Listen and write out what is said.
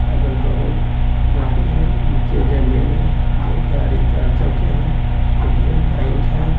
अगल-बगल गाड़ी है नीचे जमीन है दो गाड़ी चार चक्के हैं इंडियन बैंक है।